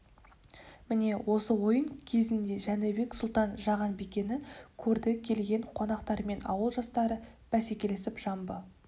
міне осы ойын кезінде жәнібек сұлтан жаған бикені көрді келген қонақтар мен ауыл жастары бәсекелесіп жамбы